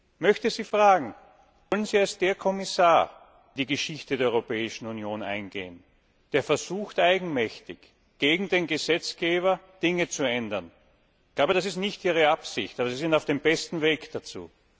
Ich möchte Sie fragen Wollen Sie als der Kommissar in die Geschichte der Europäischen Union eingehen, der versucht, eigenmächtig gegen den Gesetzgeber Dinge zu ändern? Ich glaube, das ist nicht Ihre Absicht, aber Sie sind auf dem besten Weg dazu.